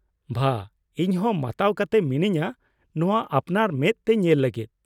ᱵᱷᱟ! ᱤᱧ ᱦᱚᱸ ᱢᱟᱛᱟᱣ ᱠᱟᱛᱮ ᱢᱤᱱᱟᱹᱧᱟ ᱱᱚᱶᱟ ᱟᱯᱱᱟᱨ ᱢᱮᱫ ᱛᱮ ᱧᱮᱞ ᱞᱟᱹᱜᱤᱫ ᱾